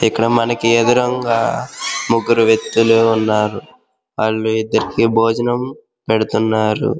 ఇక్కడ మనకి ఎదురుగా ముగ్గురు వేక్తులు ఉన్నారు వాళ్ళకి ఇద్దరు బోజనం పెడుతున్నారు.